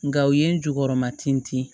Nka u ye n jukɔrɔma tin